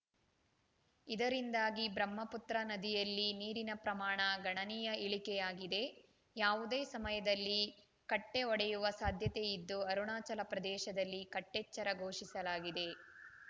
ಇದರಿಂದಾಗಿ ಬ್ರಹ್ಮಪುತ್ರ ನದಿಯಲ್ಲಿ ನೀರಿನ ಪ್ರಮಾಣ ಗಣನೀಯ ಇಳಿಕೆಯಾಗಿದೆ ಯಾವುದೇ ಸಮಯದಲ್ಲಿ ಕಟ್ಟೆಒಡೆಯುವ ಸಾಧ್ಯತೆ ಇದ್ದು ಅರುಣಾಚಲ ಪ್ರದೇಶದಲ್ಲಿ ಕಟ್ಟೆಚ್ಚರ ಘೋಷಿಸಲಾಗಿದೆ